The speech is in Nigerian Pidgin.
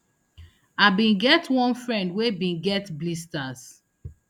i bin get one friend wey bin get blisters